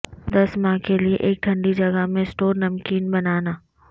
دس ماہ کے لئے ایک ٹھنڈی جگہ میں سٹور نمکین بنانا